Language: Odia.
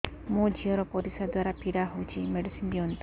ମୋ ଝିଅ ର ପରିସ୍ରା ଦ୍ଵାର ପୀଡା ହଉଚି ମେଡିସିନ ଦିଅନ୍ତୁ